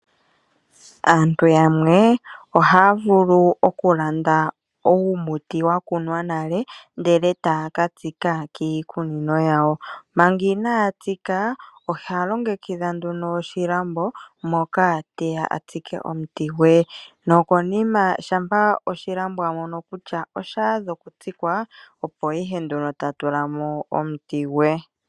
Aantu yamwe ohaa vulu okulanda uumuti wa kunwa nale ndele taa ka tsika kiikunino yawo. Manga inaa tsika oha longekidha nduno oshilambo moka te ya a tsike omuti gwe nokonima shampa oshilambo a mono kutya osha adha okutsikwa opo ihe nduno ta tula mo omuti gwe.